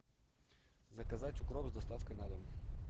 заказать укроп с доставкой на дом